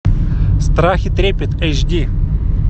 страх и трепет эйч ди